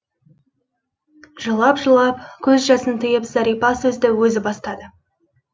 жылап жылап көз жасын тыйып зәрипа сөзді өзі бастады